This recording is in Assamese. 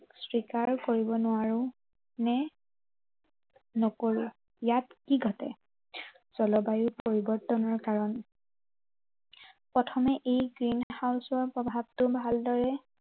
স্বীকাৰ কৰিব নোৱাৰো, নে নকৰো। ইয়াত কি ঘটে। জলবায়ু পৰিৱৰ্তনৰ কাৰণ। প্ৰথমে এই green house ৰ প্ৰভাৱটো ভালদৰে